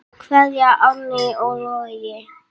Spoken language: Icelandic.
Kveðja, Árný og Logi.